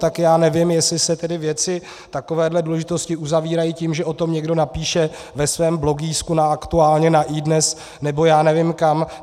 Tak já nevím, jestli se tedy věci takové důležitosti uzavírají tím, že o tom někdo napíše ve svém blogísku na aktuálně, na iDnes nebo já nevím kam.